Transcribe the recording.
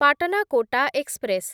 Patna Kota express